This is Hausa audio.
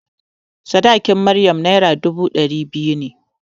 Sadakin Maryam Naira dubu ɗari biyu ne.